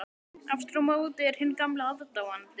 Aftur á móti er hinn gamli aðdáandi